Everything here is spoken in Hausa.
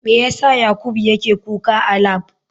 Me yasa yakubu yake kuka a lab?